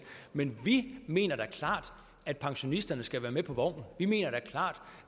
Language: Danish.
men vi mener da klart at pensionisterne skal være med på vognen vi mener da klart